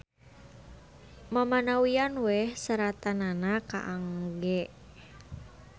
Mamanawian we seratanana kaangge.